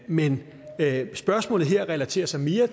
men spørgsmålet relaterer sig mere